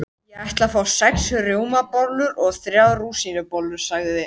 Ég ætla að fá sex rjómabollur og þrjár rúsínubollur, sagði